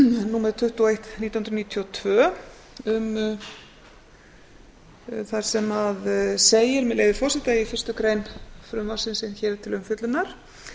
númer tuttugu og eitt nítján hundruð níutíu og tvö þar sem segir með leyfi forseta í fyrstu grein frumvarpsins sem hér er til umfjöllunar